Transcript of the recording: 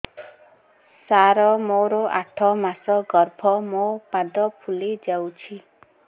ସାର ମୋର ଆଠ ମାସ ଗର୍ଭ ମୋ ପାଦ ଫୁଲିଯାଉଛି